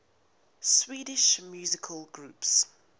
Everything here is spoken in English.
swedish musical groups